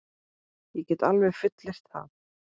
Ég get alveg fullyrt það.